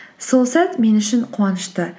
сол сәт мен үшін қуанышты